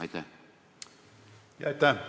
Aitäh!